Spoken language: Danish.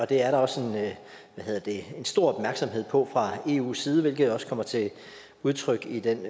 det er der også en stor opmærksomhed på fra eus side hvilket også kommer til udtryk i den